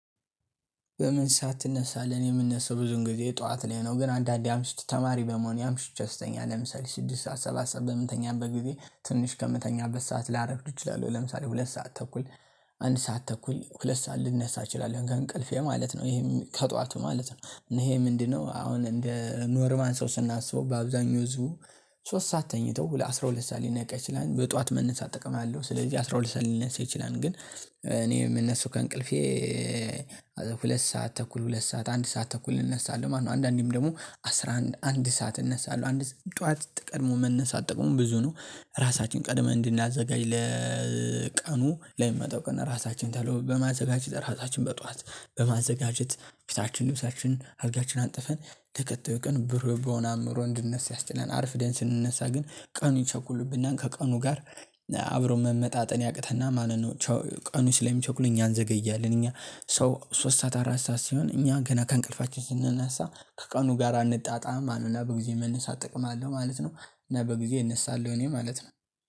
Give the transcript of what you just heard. በምን ሰዓት ትነሳለህ? እኔኔ የምነሳው ብዙን ጊዜ ጠዋት ላይ ነው ግን አንዳንዴ አምሽቼ ተማሪ በመሆኔ አምሽቼ ስተኛ ለምሳሌ ስድስት ሰዓት ሰባት ሰዓት በምንተኛበት ጊዜ ትንሽ ከምተኛበት ሰዓት ላረፍድ እችላለሁ ለምሳሌ ሁለት ሰዓት ተኩል አንድ ሰዓት ተኩል ሁለት ሰዓት ልነሳ እችላለሁ ከእንቅልፌ ማለት ነው። ይሄም ከጧቱ ማለት ነው እና ይሄ ምንድነው? አሁን እንደ ኖርማል ሰው ስናስበው በአብዛኛው ህዝቡ ሶስት ሰዓት ተኝተው ሁለ አስራ ሁለት ሰዓት ሊነቃ ይችላል በጧት መነሳት ጥቅም አለው። ስለዚህ አስራ ሁለት ሰዓት ሊነሳ ይችላል። ግን እኔ የምነሳው ከእንቅልፌ ኤ ሁለት ሰዓት ተኩል ሁለት ሰዓት አንድ ሰዓት ተኩል እነሳለሁ ማለት ነው። አንዳንዴም ደግሞ አስራ አንድ አንድ ሰዓት እነሳለሁ። አንድ ጠዋት ቀድሞ መነሳት ጥቅሙ ብዙ ነው። ራሳችን ቀድመን እንድናዘጋጅ ለ ቀኑ ለሚመጣው ቀን እራሳችንን በማዘጋጀት እራሳችን በጧት በማዘጋጀት ፊታችን ልብሳችን አልጋችን አንጥፈን ተከታዩን ቀን ብሩህ በሆነ አእምሮ እንድንነሳ ያስችላል። አርፍደን ስንነሳ ግን ቀኑ ይቸኩልብናል ከቀኑ ጋር አ አብሮ መመጣጠን ያቅተናል ማለት ነው። ቸው ቀኑ ስለሚቸኩል እኛ እንዘገያለን እኛ ሰው ሶስት ሰዓት አራት ሰዓት ሲሆን እኛ ገና ከእንቅልፋችን ስንነሳ ከቀኑ ጋር አንጣጣምም ማለት ነው። እና በጊዜ መነሳት ጥቅም አለው ማለት ነው። እና በጊዜ እነሳለሁ እኔ ማለት ነው